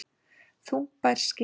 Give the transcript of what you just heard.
Þungbær skylda